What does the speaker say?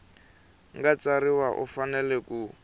nga tsarisiwa u fanele ku